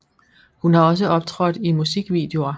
Hun har også optrådt i musikvideoer